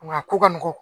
Nka a ko ka nɔgɔn